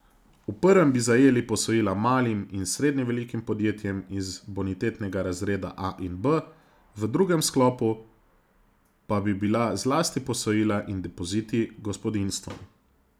V prvem bi zajeli posojila malim in srednje velikim podjetjem iz bonitetnega razreda A in B, v drugem sklopu pa bi bila zlasti posojila in depoziti gospodinjstvom.